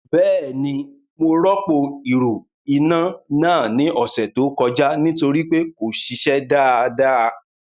Bẹ́ẹ̀ni mo rọ́pò ìrù iná náà ní ọ̀sẹ̀ tó kọjá nítorí pé kò ṣiṣẹ́ dáadáa